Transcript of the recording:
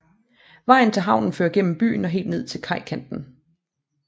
Vejen til havnen fører gennem byen og helt ned til kajkanten